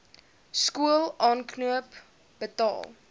skool aankoop betaal